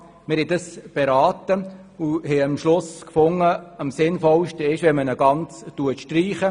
Wir haben diese beraten und befunden, eine gänzliche Streichung sei am Sinnvollsten.